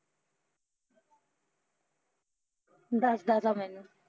ਦੱਸਦਾ ਤਾ ਮੈਨੂੰ